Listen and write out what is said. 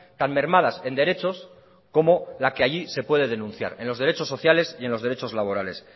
tan mermadas en derechos como la que allí se puede denunciar en los derechos sociales y en los derechos laborales